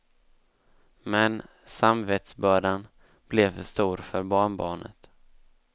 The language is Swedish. Men samvetsbördan blev för stor för barnbarnet.